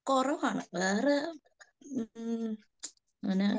കുറവാണ്, വേറെ മ്മ് അങ്ങനെ